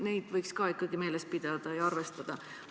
Neid võiks ikka meeles pidada ja arvestada.